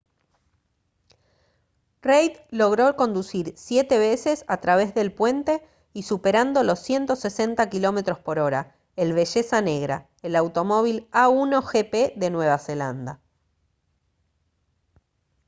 reid logró conducir siete veces a través del puente y superando los 160 km/h el belleza negra el automóvil a1gp de nueva zelanda